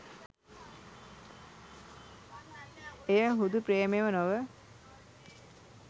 එය හුදු ප්‍රේමයම නොව